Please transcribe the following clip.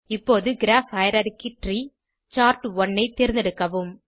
இப்போது graph hierarchy tree chart one ஐ தேர்ந்தெடுக்கவும்